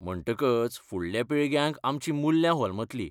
म्हणटकच फुडल्या पिळग्यांक आमचीं मुल्यां होलमतलीं.